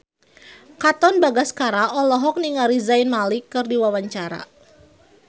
Katon Bagaskara olohok ningali Zayn Malik keur diwawancara